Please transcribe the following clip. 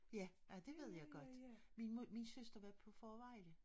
Ja ej det ved jeg godt min søster har været på Fårevejle